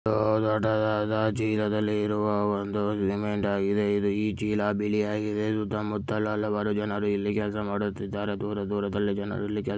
ದೊಡ್ಡದಾದ ಚೀಲದಲ್ಲಿರುವ ಒಂದು ಸಿಮೆಂಟ್ ಆಗಿದೆ ಇದು ಈ ಚೀಲ ಬಿಳಿಯಾಗಿದೆ ಸುತ್ತ ಮುತ್ತಲು ಹಲವಾರು ಜನರು ಇಲ್ಲಿ ಕೆಲಸ ಮಾಡುತ್ತಿದ್ದಾರೆ ದೂರ ದೂರದಲ್ಲಿ ಜನರು ಇಲ್ಲಿ ಕೆಲ--